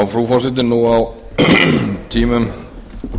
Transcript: frú forseti nú á tímum